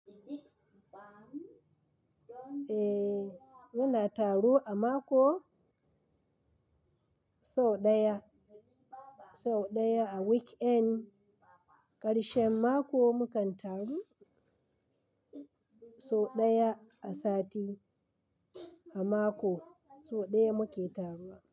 Eh muna taro a mako sau ɗaya, sau ɗaya a weekend. Ƙarshen mako mukan taru, sau ɗaya a sati. A mako sau ɗaya muke taruwa.